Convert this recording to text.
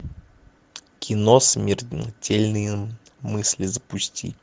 кино смертельные мысли запусти